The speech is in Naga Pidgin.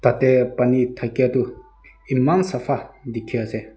tate pani thakia toh eman sapha dikhi ase.